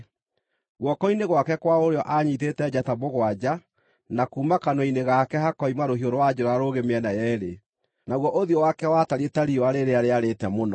Guoko-inĩ gwake kwa ũrĩo aanyiitĩte njata mũgwanja, na kuuma kanua-inĩ gake hakoima rũhiũ rwa njora rũũgĩ mĩena yeerĩ. Naguo ũthiũ wake watariĩ ta riũa rĩrĩa rĩarĩte mũno.